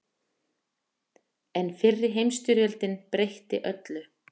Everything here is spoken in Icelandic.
En fyrri heimsstyrjöldin breytti öllu.